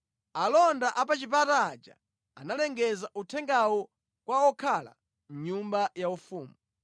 Alonda a pa chipata aja analengeza uthengawu kwa okhala mʼnyumba yaufumu.